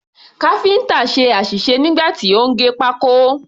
Káfíǹtà ṣe àṣìṣe nígbà tí ó ń gé pákó.